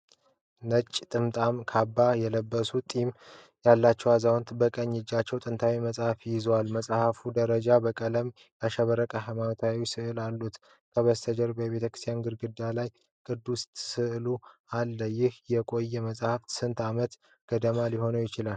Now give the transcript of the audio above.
ነጭ ጥምጣምና ካባ የለበሰ ጢም ያለው አዛውንት፣ በቀኝ እጁ ጥንታዊ መጽሐፍ ይዟል። መጽሐፉ ያረጀና በቀለማት ያሸበረቁ ሃይማኖታዊ ሥዕሎች አሉት። ከበስተጀርባው የቤተክርስቲያን ግድግዳ ላይ ቅዱሳን ተስለው አሉ። ይህ የቆየ መጽሐፍ ስንት ዓመት ገደማ ሊሆን ይችላል?